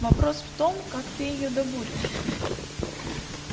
вопрос в том как ты её добудешь